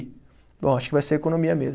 Bom, acho que vai ser economia mesmo.